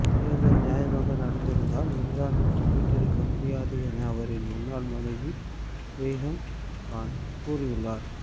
தேர்தல் நியாயமாக நடந்திருந்தால் இம்ரான் வெற்றி பெற்றிருக்க முடியாது என அவரின் முன்னாள் மனைவி ரேஹம் கான் கூறியுள்ளார்